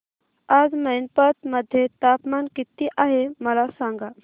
आज मैनपत मध्ये तापमान किती आहे मला सांगा